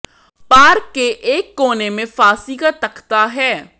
park के एक कोने में फांसी का तख्ता है